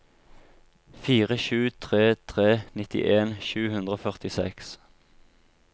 fire sju tre tre nittien sju hundre og førtiseks